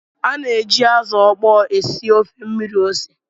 A na-eji azụ ókpó esi ofe mmiri ose